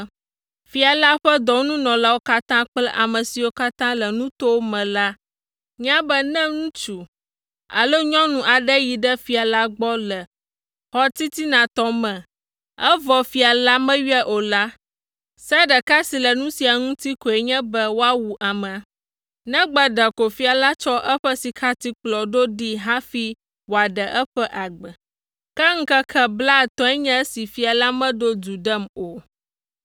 “Fia la ƒe dɔnunɔlawo katã kple ame siwo katã le nutowo me la nya be ne ŋutsu alo nyɔnu aɖe yi ɖe fia la gbɔ le xɔ titinatɔ me, evɔ fia la meyɔe o la, se ɖeka si le nu sia ŋuti koe nye be woawu amea. Negbe ɖeko fia la tsɔ eƒe sikatikplɔ ɖo ɖee hafi wòaɖe eƒe agbe. Ke ŋkeke blaetɔ̃e nye esi fia la meɖo du ɖem o.”